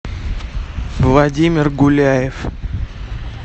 владимир гуляев